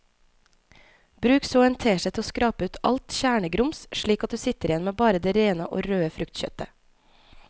Bruk så en teskje til å skrape ut alt kjernegrums slik at du sitter igjen med bare det rene og røde fruktkjøttet.